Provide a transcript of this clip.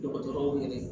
Dɔgɔtɔrɔw yɛrɛ